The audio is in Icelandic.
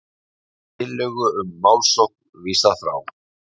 Tillögu um málssókn vísað frá